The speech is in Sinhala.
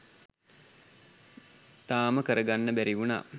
තාම කරගන්න බැරිවුණා.